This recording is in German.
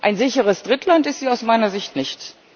Ein sicheres Drittland ist sie aus meiner Sicht nicht.